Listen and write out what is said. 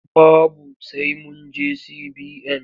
Babu sai mun je CBN.